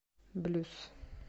блюз